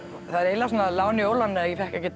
það er eiginlega lán í óláni að ég fékk ekki